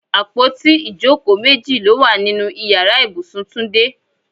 Àpótí ìjókòó méjì ló wà nínú Ìyàrá ibùsùn Túndé.